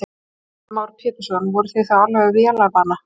Heimir Már Pétursson: Voruð þið þá alveg vélarvana?